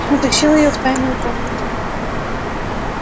утащил её в тайную комнату